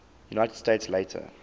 united states later